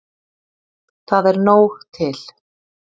Það er nóg til.